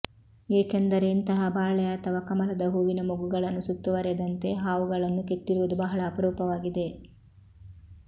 ಏಕೆಂದರೆ ಇಂತಹ ಬಾಳೆ ಅಥವಾ ಕಮಲದ ಹೂವಿನ ಮೊಗ್ಗುಗಳನ್ನು ಸುತ್ತುವರೆದಂತೆ ಹಾವುಗಳನ್ನು ಕೆತ್ತಿರುವುದು ಬಹಳ ಅಪರೂಪವಾಗಿದೆ